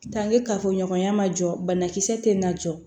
kafoɲɔgɔnya ma jɔ banakisɛ tɛ na jɔ